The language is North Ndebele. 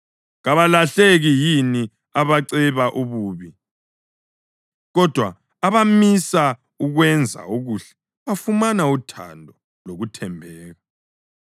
Kabalahleki yini abaceba ububi? Kodwa abamisa ukwenza okuhle bafumana uthando lokuthembeka.